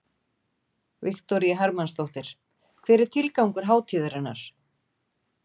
Viktoría Hermannsdóttir: Hver er tilgangur hátíðarinnar?